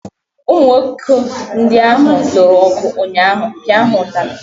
Ụmụ nwoke ndị ahụ lụrụ ọgụ ụnyaahụ, pịa ha ụtalị!